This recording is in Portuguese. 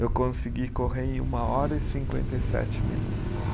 Eu consegui correr em uma hora e cinquenta e sete minutos.